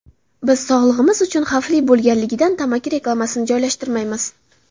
Biz sog‘lig‘imiz uchun xavfli bo‘lganligidan tamaki reklamasini joylashtirmaymiz.